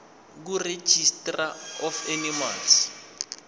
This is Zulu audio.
kuregistrar of animals